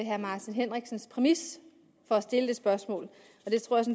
herre martin henriksens præmis for at stille det spørgsmål